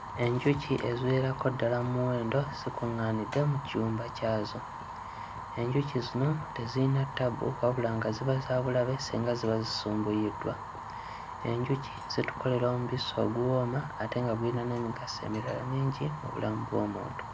Enjuki eziwererako ddala mu muwendo zikuŋŋaanidde mu kiyumba kyazo. Enjuki zino teziyina ttabu wabula nga ziba za bulabe singa ziba zisumbuyiddwa. Enjuki zitukolera omubisi oguwooma ate nga guyina n'emigaso emirala mingi mu bulamu bw'omuntu.